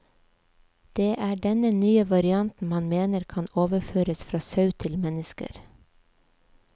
Det er denne nye varianten man mener kan overføres fra sau til mennesker.